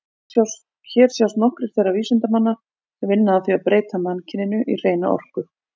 Hér sjást nokkrir þeirra vísindamanna sem vinna að því að breyta mannkyninu í hreina orku.